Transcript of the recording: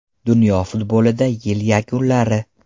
Dunyo futbolida yil yakunlari.